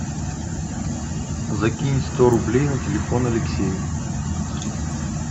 закинь сто рублей на телефон алексею